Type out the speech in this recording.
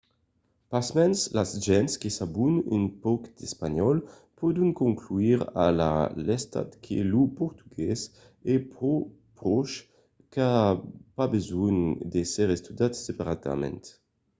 pasmens las gents que sabon un pauc d'espanhòl pòdon conclure a la lèsta que lo portugués es pro pròche qu'a pas besonh d'èsser estudiat separadament